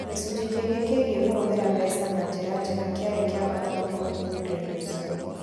Gĩcunjĩ kĩngĩ kĩgiĩ kũhũthĩra mbeca na njĩra njega kĩarĩ kĩa bata mũno ũthuthuria-inĩ ũcio.